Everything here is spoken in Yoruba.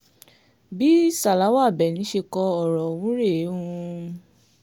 bí sálàwá àbẹ́ni ṣe kọ ọ̀rọ̀ ọ̀hún rèéhmmm